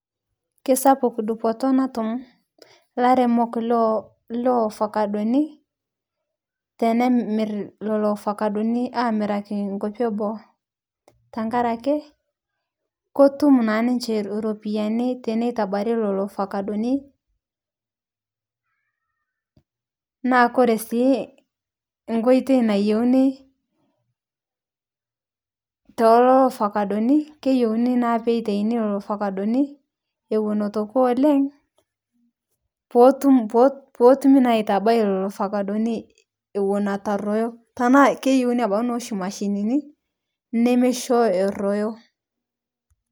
Keisapuk dupoto natum lairemok Le ovakadoni tenemir leloo ovakadoni amirakii nkopi eboo tankarakee kotum naa ninshee ropiyani teneitabari leloo ovakadoni naa kore sii nkoitei nayeunii telolo ovakadoni keyeunii naa peitainii leloo ovakadoni ewon etuu ekuu oleng' pootum pootumii naa aitabai leloo ovakadoni ewon etuu aroyoo tanaa keyeunii abaki noshii mashininii nemeishoo eroyoo.